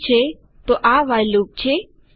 ઠીક છે તો આ વ્હાઇલ લૂપ છે